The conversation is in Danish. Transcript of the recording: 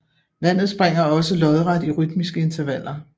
Vandet springer også lodret i rytmiske intervaller